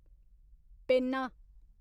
पेन्ना